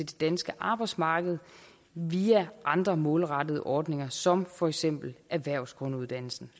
danske arbejdsmarked via andre målrettede ordninger som for eksempel erhvervsgrunduddannelsen